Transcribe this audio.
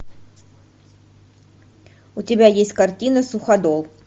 у тебя есть картина суходол